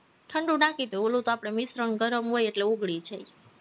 ઠંડુ નાખીએ તોય ઓલું આપણું મિશ્રણ ગરમ હોય એટલે ઓગળી જાય